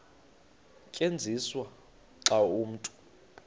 tyenziswa xa umntu